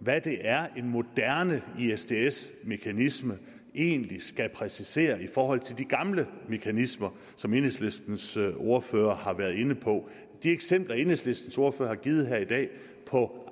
hvad det er en moderne isds mekanisme egentlig skal præcisere i forhold til de gamle mekanismer som enhedslistens ordfører har været inde på de eksempler enhedslistens ordfører har givet her i dag på